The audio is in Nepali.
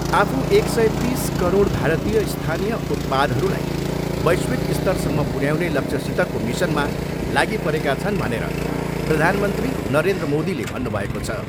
आफू एक सय तिस करोड भारतीय स्थानीय उतपादहरूलाई वैश्विक स्तरसम्म पुर्याउने लक्ष्यसितको मिसनमा लागिपरेका छन् भनेर प्रधानमन्त्री नरेन्द्र मोदीले भन्नुभएको छ।